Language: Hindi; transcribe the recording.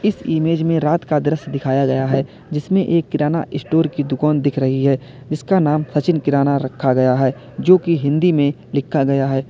इस इमेज में रात का दृश्य दिखाया गया है जिसमें एक किराना स्टोर की दुकान दिख रही है इसका नाम सचिन किराना रखा गया है जो की हिंदी में लिखा गया है।